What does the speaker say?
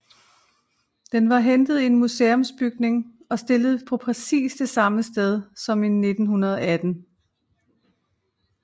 Den var hentet i en museumsbygning og stillet på præcis det samme sted som i 1918